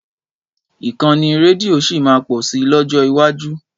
Ìkànnì rédíò sì máa pọ̀ si lọ́jọ́ iwájú.